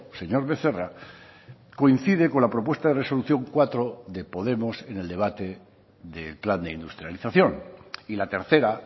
señor becerra coincide con la propuesta de resolución cuatro de podemos en el debate del plan de industrialización y la tercera